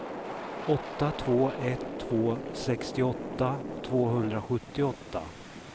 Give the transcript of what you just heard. åtta två ett två sextioåtta tvåhundrasjuttioåtta